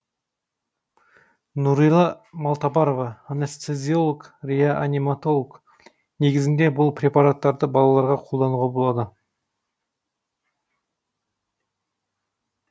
нүрила малтабарова анестезиолог реаниматолог негізінде бұл препараттарды балаларға қолдануға болады